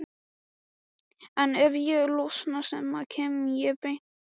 en ef ég losna snemma kem ég beint til ykkar.